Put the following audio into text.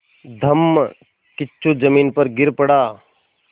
धम्मकिच्चू ज़मीन पर गिर पड़ा